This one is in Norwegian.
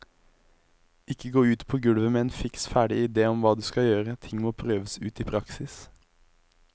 Ikke gå ut på gulvet med en fiks ferdig ide om hva du skal gjøre, ting må prøves ut i praksis.